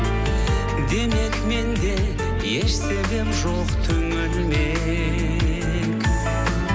демек менде еш себеп жоқ түңілмек